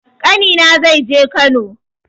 Ƙani na zai je Kano